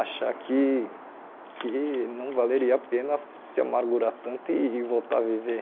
achar que que não valeria a pena se amargurar tanto e voltar a viver.